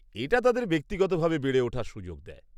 -এটা তাদের ব্যক্তিগতভাবে বেড়ে ওঠার সুযোগ দেয়।